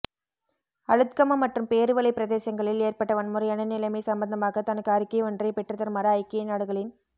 அளுத்கம மற்றும் பேருவளை பிரதேசங்களில் ஏற்பட்ட வன்முறையான நிலைமை சம்பந்தமாக தனக்கு அறிக்கை ஒன்றை பெற்றுதருமாறு ஐக்கிய நாடுகளின்